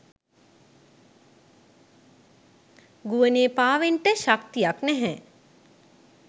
ගුවනේ පාවෙන්ට ශක්තියක් නැහැ.